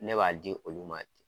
Ne b'a di olu ma ten